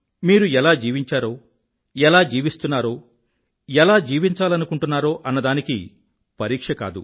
మీరు ఎలా జీవించారో ఎలా జీవిస్తున్నారో ఎలా జీవించాలనుకుంటున్నారో అన్నదానికి పరీక్ష కాదు